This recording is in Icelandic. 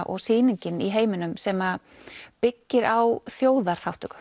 og sýningin í heiminum sem byggir á